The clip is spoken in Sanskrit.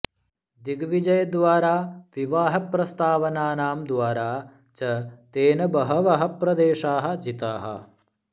दिग्विजयद्वारा विवाहप्रस्तावानां द्वारा च तेन बहवः प्रदेशाः जिताः